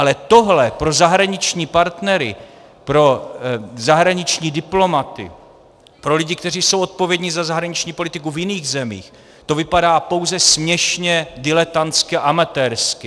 Ale tohle pro zahraniční partnery, pro zahraniční diplomaty, pro lidi, kteří jsou odpovědní za zahraniční politiku v jiných zemích, to vypadá pouze směšně, diletantsky a amatérsky.